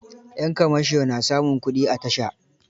Yan kamasho na samun kuɗi a tasha.